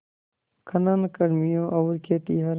खनन कर्मियों और खेतिहर